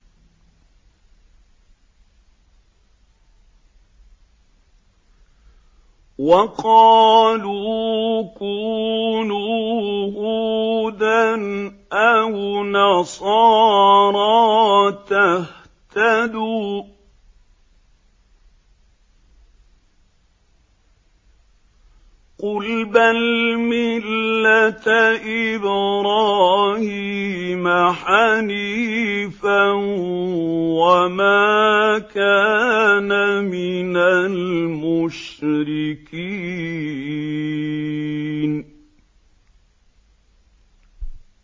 وَقَالُوا كُونُوا هُودًا أَوْ نَصَارَىٰ تَهْتَدُوا ۗ قُلْ بَلْ مِلَّةَ إِبْرَاهِيمَ حَنِيفًا ۖ وَمَا كَانَ مِنَ الْمُشْرِكِينَ